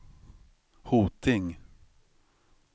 Hoting